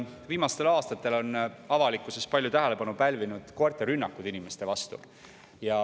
Viimastel aastatel on avalikkuses palju tähelepanu pälvinud koerte rünnakud inimeste vastu.